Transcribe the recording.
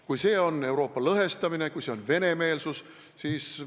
Kas see on Euroopa lõhestamine, kas see on venemeelsus?